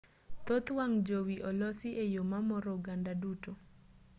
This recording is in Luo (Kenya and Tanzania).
thoth wang' jowi olosi e yo mamoro oganda duto